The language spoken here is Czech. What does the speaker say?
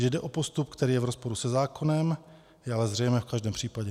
Že jde o postup, který je v rozporu se zákonem, je ale zřejmé v každém případě.